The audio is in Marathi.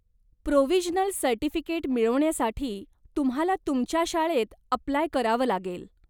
प्रोविजनल सर्टिफिकेट मिळवण्यासाठी तुम्हाला तुमच्या शाळेत अप्लाय करावं लागेल.